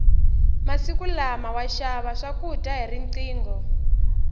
masiku lama wa xava swakudya hi riqingho